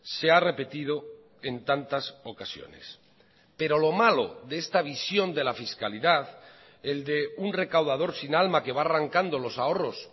se ha repetido en tantas ocasiones pero lo malo de esta visión de la fiscalidad el de un recaudador sin alma que va arrancando los ahorros